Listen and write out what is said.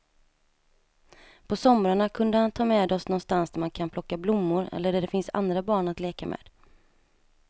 På somrarna kunde han ta med oss någonstans där man kan plocka blommor eller där det finns andra barn att leka med.